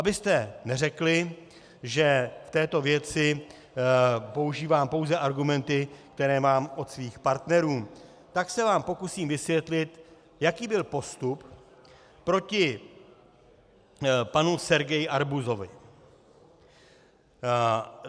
Abyste neřekli, že v této věci používám pouze argumenty, které mám od svých partnerů, tak se vám pokusím vysvětlit, jaký byl postup proti panu Sergeji Arbuzovovi.